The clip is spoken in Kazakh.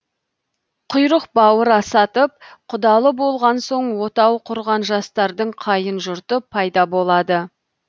құйрық бауыр асатып құдалы болған соң отау құрған жастардың қайын жұрты пайда болады